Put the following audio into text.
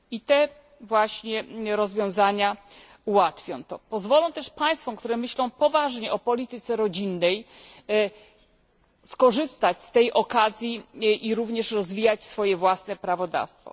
I te właśnie rozwiązania ułatwią i pozwolą też państwom, które myślą poważnie o polityce rodzinnej, skorzystać z tej okazji i rozwijać swoje własne prawodawstwo.